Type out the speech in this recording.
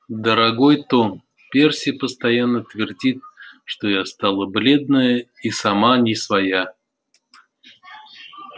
дорогой том перси постоянно твердит что я стала бледная и сама не своя